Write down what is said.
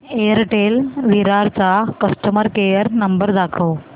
Airtel Virar चा customer care number दाखव